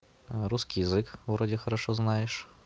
русский язык вроде хорошо знаешь